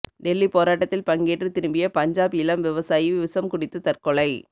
டெல்லி போராட்டத்தில் பங்கேற்று திரும்பிய பஞ்சாப் இளம் விவசாயி விஷம் குடித்து தற்கொலை